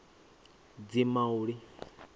dzimauli